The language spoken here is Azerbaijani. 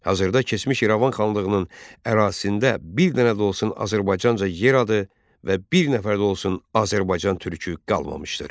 Hazırda keçmiş İrəvan xanlığının ərazisində bir dənə də olsun Azərbaycanlıca yer adı və bir nəfər də olsun Azərbaycan türkü qalmamışdır.